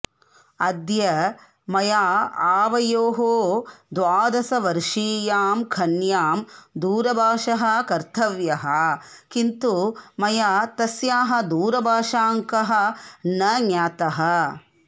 अद्य मया आवयोः द्वादशवर्षीयां कन्यां दूरभाषः कर्तव्यः किन्तु मया तस्याः दूरभाषाङ्कः न ज्ञातः